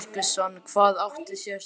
Símon Birgisson: Hvað átti sér stað?